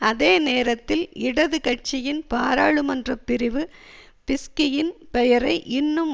அதேநேரத்தில் இடது கட்சியின் பாராளுமன்ற பிரிவு பிஸ்கியின் பெயரை இன்னும்